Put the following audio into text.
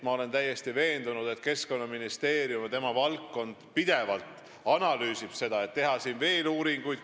Ma olen täiesti veendunud, et Keskkonnaministeerium pidevalt analüüsib seda, kas on vaja teha veel uuringuid.